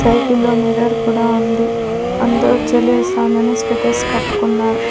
సైకిల్లో మిర్రర్ కూడా ఉంది అందరూ చలేస్తోందని స్వెటర్లు కప్పుకున్నారు.